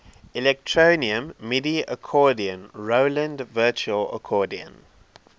electronium midi accordion roland virtual accordion